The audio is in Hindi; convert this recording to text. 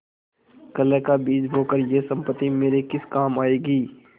कलह का बीज बोकर यह सम्पत्ति मेरे किस काम आयेगी